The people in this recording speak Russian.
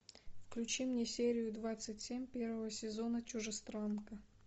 включи мне серию двадцать семь первого сезона чужестранка